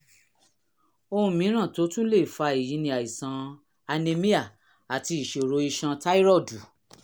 ohun mìíràn tó tún lè fa èyí ni àìsàn anemia àti ìṣòro iṣan táírọ́ọ̀dù